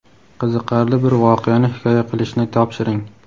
qiziqarli bir voqeani hikoya qilishni topshiring.